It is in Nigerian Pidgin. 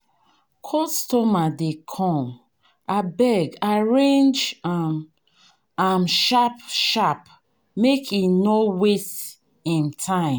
Customer dey come, abeg arrange am sharp sharp make e no waste im time.